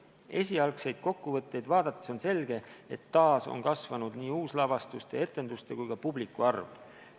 Esialgseid kokkuvõtteid vaadates on selge, et taas on kasvanud nii uuslavastuste, etenduste kui ka publiku arv.